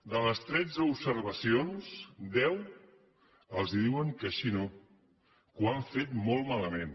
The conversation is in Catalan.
de les tretze observacions en deu els diuen que així no que ho han fet molt malament